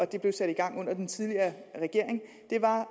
det blev sat i gang under den tidligere regering